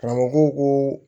Karamɔgɔ ko ko